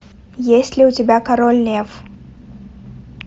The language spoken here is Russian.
есть ли у тебя король лев